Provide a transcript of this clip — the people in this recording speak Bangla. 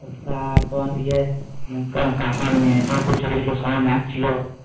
তারপর ইয়ে তোমার কাকার মেয়েটাও খুব ছোট ছিল সবাই নাচছিল